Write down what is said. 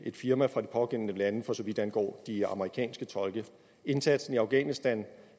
firma fra de pågældende lande for så vidt angår de amerikanske tolke indsatsen i afghanistan